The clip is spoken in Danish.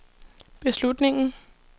beslutningen